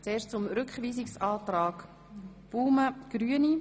Zuerst zum Rückweisungsantrag Baumann.